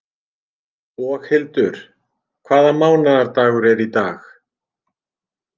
Boghildur, hvaða mánaðardagur er í dag?